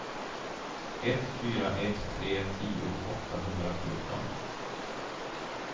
ett fyra ett tre tio åttahundrafjorton